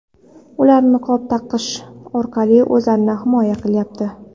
Ular niqob taqish orqali o‘zlarini himoya qilyapti.